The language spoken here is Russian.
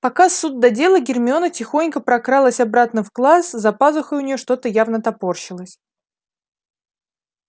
пока суд да дело гермиона тихонько прокралась обратно в класс за пазухой у нее что-то явно топорщилось